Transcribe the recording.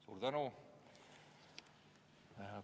Suur tänu!